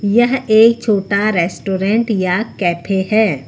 यह एक छोटा रेस्टोरेंट या कैफे हैं।